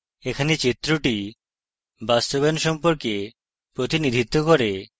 এখানে চিত্রটি বাস্তবায়ন সস্পর্ক প্রতিনিধিত্ব করে